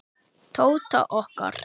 Tóta okkar.